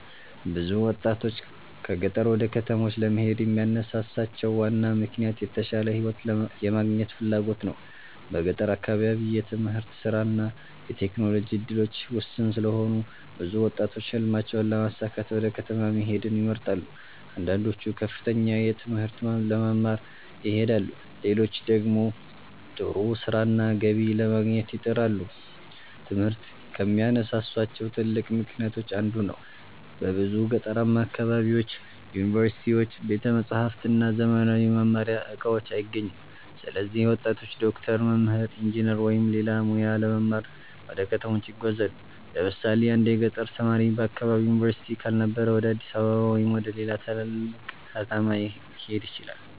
ብዙ ወጣቶች ከገጠር ወደ ከተሞች ለመሄድ የሚያነሳሳቸው ዋና ምክንያት የተሻለ ሕይወት የማግኘት ፍላጎት ነው። በገጠር አካባቢ የትምህርት፣ የሥራ እና የቴክኖሎጂ እድሎች ውስን ስለሆኑ ብዙ ወጣቶች ሕልማቸውን ለማሳካት ወደ ከተማ መሄድን ይመርጣሉ። አንዳንዶቹ ከፍተኛ ትምህርት ለመማር ይሄዳሉ፣ ሌሎች ደግሞ ጥሩ ሥራና ገቢ ለማግኘት ይጥራሉ። ትምህርት ከሚያነሳሳቸው ትልቅ ምክንያቶች አንዱ ነው። በብዙ ገጠራማ አካባቢዎች ዩኒቨርሲቲዎች፣ ቤተ መጻሕፍት እና ዘመናዊ የመማሪያ እቃዎች አይገኙም። ስለዚህ ወጣቶች ዶክተር፣ መምህር፣ ኢንጂነር ወይም ሌላ ሙያ ለመማር ወደ ከተሞች ይጓዛሉ። ለምሳሌ አንድ የገጠር ተማሪ በአካባቢው ዩኒቨርሲቲ ካልነበረ ወደ አዲስ አበባ ወይም ወደ ሌላ ትልቅ ከተማ ሊሄድ ይችላል።